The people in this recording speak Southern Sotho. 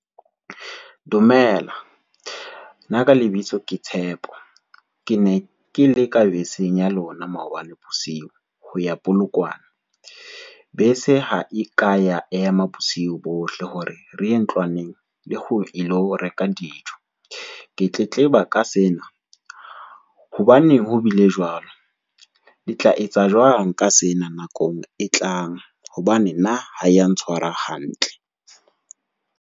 Dumela, nna ka lebitso ke Tshepo, ke ne ke le ka beseng ya lona maobane bosiu ho ya Polokwane, bese ha e ka ya ema bosiu bohle hore re ye ntlwaneng le ho ilo reka dijo. Ke tletleba ka sena, hobaneng ho bile jwalo? Le tla etsa jwang ka sena nakong e tlang hobane nna ha ya ntshwara hantle.